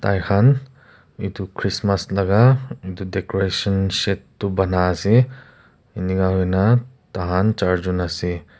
Thaikhan etu Christmas laga etu decoration shed tuh bana ase aro enika hoina thakan charjun ase.